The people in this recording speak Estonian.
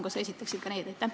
Kas sa esitaksid ka need?